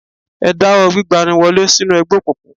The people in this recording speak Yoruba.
Ẹ dáwọ́ gbígba ni wọlé sínú ẹgbẹ̀ òkùnkùn